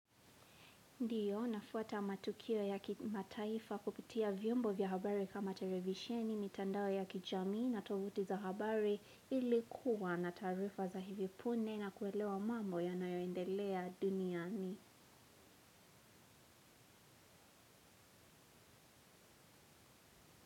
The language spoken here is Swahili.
Ndiyo, nafuata matukio ya kimataifa kupitia vyombo vya habari kama televisheni, mitandao ya kijamii na tovuti za habari ili kuwa na taarifa za hivi pune na kuelewa mambo yanayoendelea duniani.